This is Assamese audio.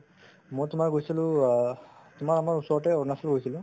মই তোমাৰ গৈছিলো অ তোমাৰ আমাৰ ওচৰতে অৰুণাচল গৈছিলো